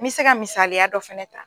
N me se ka misaliya dɔ fɛnɛ ta